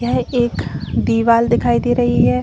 यह एक दीवाल दिखाई दे रही है।